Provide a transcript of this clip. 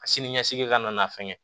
A siniɲɛsigi ka na n'a fɛngɛ ye